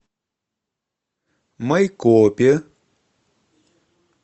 майкопе